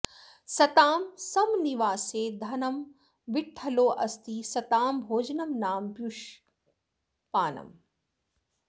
सतां संनिवासे धनं विठ्ठलोऽस्ति सतां भोजनं नाम पीयूषपानम्